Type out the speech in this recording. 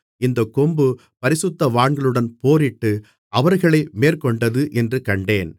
இந்தக் கொம்பு பரிசுத்தவான்களுடன் போரிட்டு அவர்களை மேற்கொண்டது என்று கண்டேன்